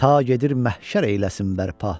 Ta gedir məhşər eyləsin bərpa.